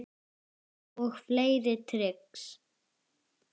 Og fleiri trix.